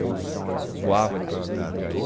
Eu voava de planador em Jundiaí.